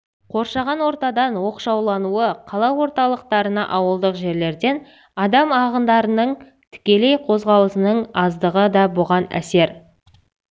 қоршаған ортадан оқшаулануы қала орталықтарына ауылдық жерлерден адам ағындарының тікелей қозғалысының аздығы да бұған әсер